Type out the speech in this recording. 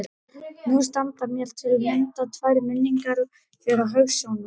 Nú standa mér til að mynda tvær minningar fyrir hugskotssjónum.